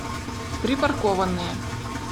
припаркованные